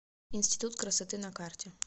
институт красоты на карте